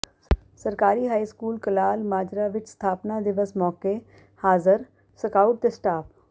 ਸਰਕਾਰੀ high school Kalal Majra ਵਿੱਚ ਸਥਾਪਨਾ ਦਿਵਸ ਮੌਕੇ ਹਾਜ਼ਰ ਸਕਾਊਟ ਤੇ ਸਟਾਫ਼